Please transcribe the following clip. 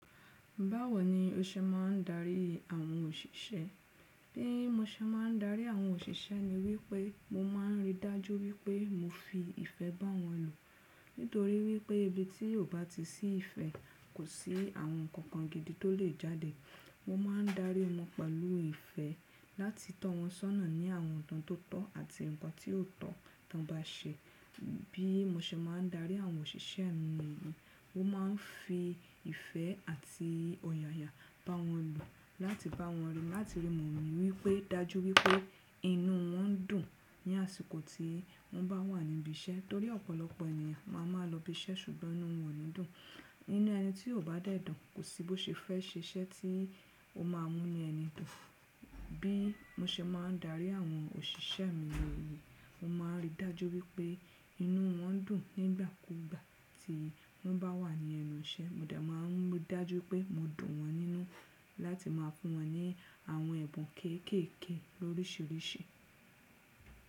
Báwo ni o ṣe máà ń darí àwọn òṣìṣẹ́? Bí mo ṣe máà ń darí àwọn òṣìṣẹ́ ni wípé mo máà ń rí i dájú wípé mo fi ìfẹ́ bá wọn lù. Nítorí wípé ibi tí ò bá ti sí ìfẹ́ kò sí àwọn nǹkan kan gidi tó lè jáde. Mo máà ń darí wọn pẹ̀lú ìfẹ́ láti tọ́ wọn sọ́nà ní àwọn nǹkan tó tọ́ àti nǹkan tí ò tọ́ tán bá ṣé. Bí mo ṣe máà ń darí àwọn òṣìṣẹ́ mi nìyẹn. Mo máà ń fi ìfẹ́ àti ọ̀yàyà bá wọn lo láti bá wọn rí, láti rí mọ̀ wípé dájú wípé inú wọn dùn ní àsìkò tí wọ́n bá wà níbi iṣẹ́. Torí ọ̀pọ̀lọpọ̀ ènìyàn máa máa lọ ibi iṣẹ́ ṣùgbọ́n inú wọn ò ní dùn. Inú ẹni tí ò bá dẹ̀ dùn kò sí bó ṣe fẹ́ ṣe iṣẹ́ tí ó máà ń mú ẹni dùn. Bí mo ṣe máà ń darí àwọn òṣìṣẹ́ mi nìyẹn. Mo máà ń rí i dájú wípé inú wọn dùn nígbà kúgbà tí wọ́n bá wà ní ẹnu iṣẹ́. Mo dà máà ń rí i dájú pé mo dùn wọn nínú láti máa fún wọn ní àwọn ẹ̀bùn kéékèèké lóríṣiríṣi.